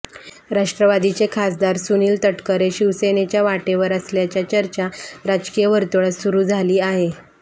राष्ट्रवादीचे खासदार सुनिल तटकरे शिवसेनेच्या वाटेवर असल्याच्या चर्चा राजकीय वर्तुळात सुरू झाली आहे